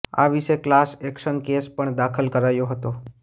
આ વિશે class action case પણ દાખલ કરાયો હતો